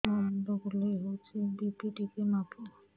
ମୋ ମୁଣ୍ଡ ବୁଲେଇ ହଉଚି ବି.ପି ଟିକେ ମାପ